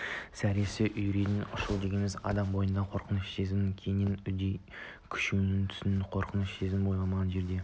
зәресі үрейі ұшу дегеніміз адам бойындағы қорқыныш сезімінің кейіннен үдей күшейе түсуі қорқыныш сезімі ойламаған жерден